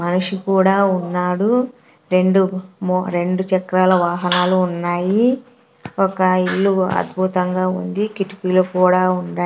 మనిషి కూడా ఉన్నాడు రెండు ము-- రెండు చక్రాల వాహనాలు ఉన్నాయి ఒక ఇల్లు అద్భుతంగా ఉంది కిటిపీలో కూడా ఉంది.